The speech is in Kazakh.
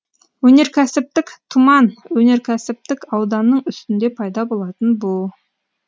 өнеркәсіптік тұман өнеркәсіптік ауданның үстінде пайда болатын бу